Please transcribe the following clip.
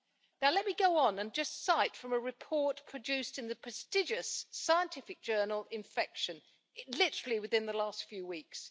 Now let me go on and just quote from a report produced in the prestigious scientific journal Infection', literally within the last few weeks.